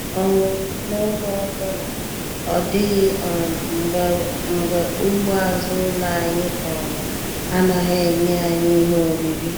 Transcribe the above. um N'oge ọbụla, ọ dịghị um mgbe ugbo azụ ụlọ anyị um anaghị enye anyị ihe oriri.